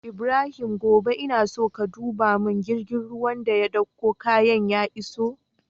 Ibrahim gobe ina so ka duba mun girgin ruwan da ya ɗauko kayan ya iso